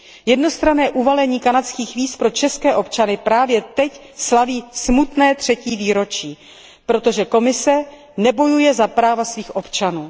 Jednostranné uvalení kanadských víz pro české občany právě teď slaví smutné třetí výročí, protože Komise nebojuje za práva svých občanů.